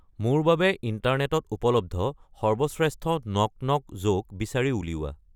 মোৰ বাবে ইন্টাৰনেটত উপলব্ধ সৰ্বশ্ৰেষ্ঠ নক নক জ'ক বিচাৰি উলিওৱা